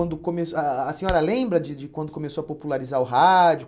quando começo a a A senhora lembra de de quando começou a popularizar o rádio?